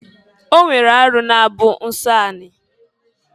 O nwere arụ na-abụ nsọ ani.